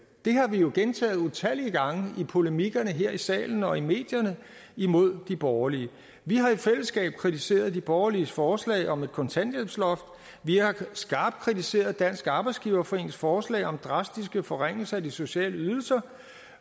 har vi jo gentaget utallige gange i polemikkerne her i salen og i medierne imod de borgerlige vi har i fællesskab kritiseret de borgerliges forslag om et kontanthjælpsloft vi har skarpt kritiseret dansk arbejdsgiverforenings forslag om drastiske forringelser af de sociale ydelser